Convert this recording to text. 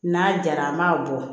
N'a jara an b'a bɔ